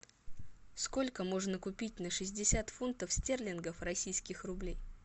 сколько можно купить на шестьдесят фунтов стерлингов российских рублей